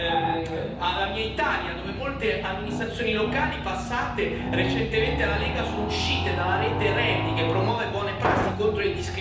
Penso alla mia Italia, dove molte amministrazioni locali passate recentemente alla Lega sono uscite dalla rete RE.A.DY